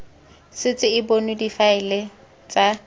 setse e bonwe difaele tsa